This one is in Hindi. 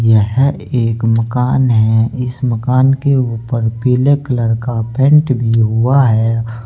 यह एक मकान है। इस मकान के ऊपर पीले कलर का पेंट भीं हुआ है।